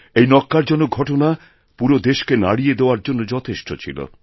এই ন্যক্কারজনক ঘটনা পুরো দেশকে নাড়িয়ে দেওয়ারজন্য যথেষ্ট ছিল